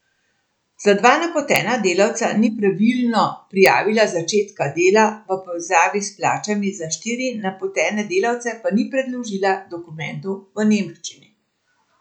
Za dva napotena delavca ni pravilno prijavila začetka dela, v povezavi s plačami za štiri napotene delavce pa ni predložila dokumentov v nemščini.